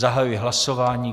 Zahajuji hlasování.